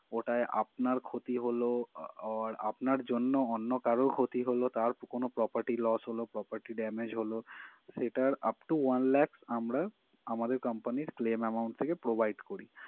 ওটায় আপনার ক্ষতি হলো আহ আর আপনার জন্য অন্য কারো ক্ষতি হলো তার কোনো property loss হলো property damage হলো সেটার upto one lakh আমরা আমদের company claim amount provide করি।